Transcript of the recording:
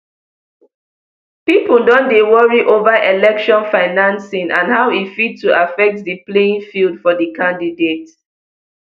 pipo don dey worry ova election financing and how e fit to affect di playing field for di candidates